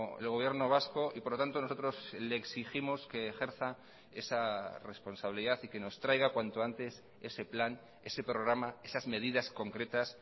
el gobierno vasco y por lo tanto nosotros le exigimos que ejerza esa responsabilidad y que nos traiga cuanto antes ese plan ese programa esas medidas concretas